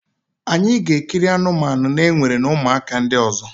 anyị ga-ekiri anụmanụ na-ewere na ụmụaka ndị ọzọ.